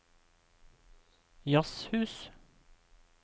jazzhus